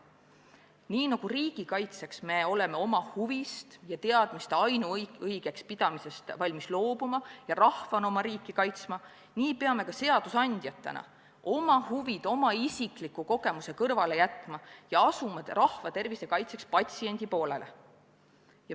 Nii nagu me riigi kaitseks oleme valmis oma huvide ja teadmiste ainuõigeks pidamisest loobuma ja rahvana oma riiki kaitsma, nii peame ka seadusandjatena oma huvid ja oma isikliku kogemuse kõrvale jätma ja asuma rahva tervise kaitseks patsiendi poolele.